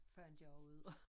Fandt jeg også ud af